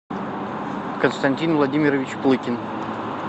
константин владимирович плыкин